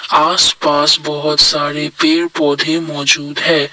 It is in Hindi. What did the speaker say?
आस पास बहौत सारे पेड़ पौधे मौजूद हैं।